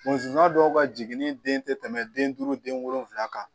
Musoya dɔw ka jiginni den tɛ tɛmɛ den duuru den wolonfila kan